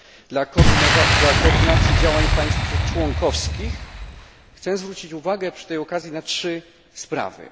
Dla koordynacji działań państw członkowskich chcę zwrócić uwagę przy tej okazji na trzy sprawy.